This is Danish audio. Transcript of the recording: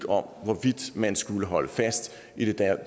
om hvorvidt man skulle holde fast i den